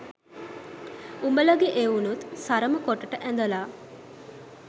උඹලගේ එවුනුත් සරම කොටට ඇදලා